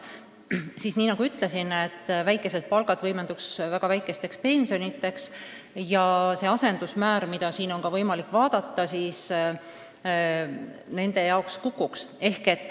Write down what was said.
Ja nagu ma ütlesin, väikesed palgad tähendaksid ka väga väikesi pensione ja see asendusmäär, mida teil on siin võimalik vaadata, nende jaoks kukuks.